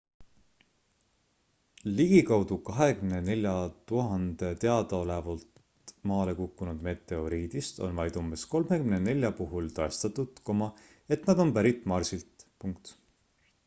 ligikaudu 24 000 teadaolevalt maale kukkunud meteoriidist on vaid umbes 34 puhul tõestatud et nad on pärit marsilt